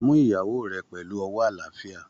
Mú ìyàwó rẹ pẹlú ọwọ́ àlàáfíà!